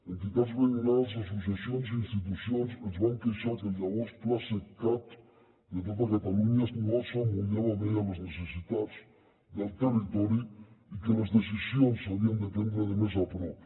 entitats veïnals associacions i institucions es van queixar que el llavors plaseqcat de tota catalunya no s’emmotllava bé a les necessitats del territori i que les decisions s’havien de prendre de més a prop